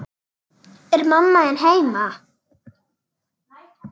Er mamma þín heima?